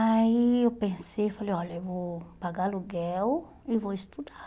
Aí eu pensei, falei, olha, eu vou pagar aluguel e vou estudar.